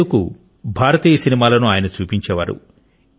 సేదు కు భారతీయ సినిమాలను ఆయన చూపించేవారు